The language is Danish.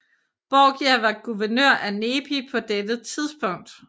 Borgia var guvernør af Nepi på dette tidspunkt